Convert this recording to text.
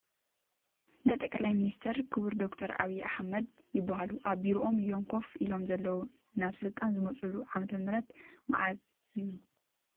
ናይ ኢ/ያ ጠቕላይ ሚኒስተር ክቡር ዶ/ር ዐብይ ኣሕመድ ይበሃሉ ኣብ ቢሮኦም እዮም ከፍ ኢሎም ዘለዉ፡ ናብ ስልጣን ዝመፅሉ ዓ/ም መዓዝ እዩ ?